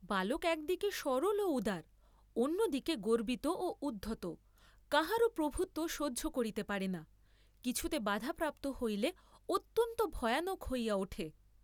বালক একদিকে সরল ও উদার, অন্যদিকে গর্ব্বিত ও উদ্ধত, কাহারো প্রভুত্ব সহ্য করিতে পারে না, কিছুতে বাধা প্রাপ্ত হইলে অত্যন্ত ভয়ানক হইয়া উঠে।